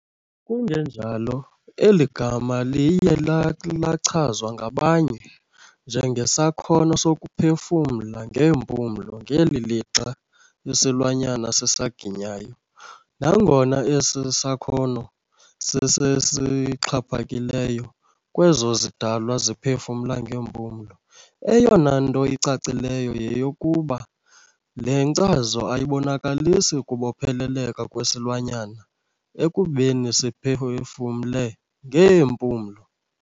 Kungenjalo, eli gama liye lachazwa ngabanye njengesakhono sokuphefumla ngeempumlo ngeli lixa isilwanyana sisaginyayo. Nangona esi sakhono sisesixhaphakileyo kwezo zidalwa ziphefumla ngeempumlo, eyonanto icacileyo yeyokokuba le nkcazo ayibonakalisi kubopheleleka kwesilwanyana ekubeni siphefumle ngeempulo.